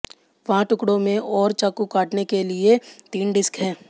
वहाँ टुकड़ों में और चाकू काटना के लिए तीन डिस्क हैं